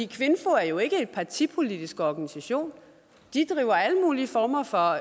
kvinfo er jo ikke en partipolitisk organisation de driver alle mulige former for